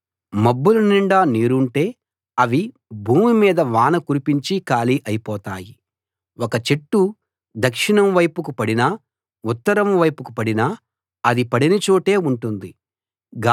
మబ్బుల నిండా నీరుంటే అవి భూమి మీద వాన కురిపించి ఖాళీ అయిపోతాయి ఒక చెట్టు దక్షిణం వైపుకు పడినా ఉత్తరం వైపుకు పడినా అది పడిన చోటే ఉంటుంది